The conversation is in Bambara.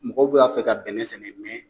Mɔgɔw be k'a fɛ ka bɛnɛn sɛnɛ mɛn